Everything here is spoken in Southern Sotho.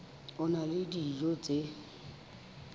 a na le dijo tse